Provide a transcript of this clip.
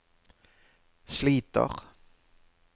sliter